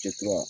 Ci wa